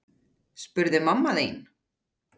spurði mamma þín.